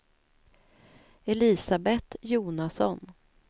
Elisabeth Jonasson